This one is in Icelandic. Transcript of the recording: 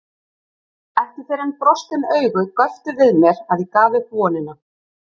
Ekki fyrr en brostin augu göptu við mér að ég gaf upp vonina.